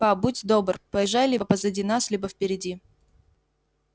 па будь добр поезжай либо позади нас либо впереди